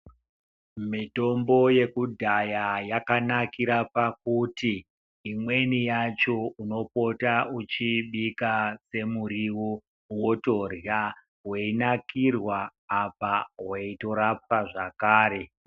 Mitombo yekudhaya yakanakira pakuti, imweni yacho unopota uchiibika semuriwo wotorhya weinakirwa apa weitorapwa zvakare.